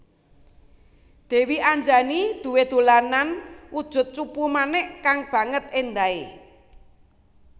Dèwi Anjani duwé dolanan wujud cupu manik kang banget éndahé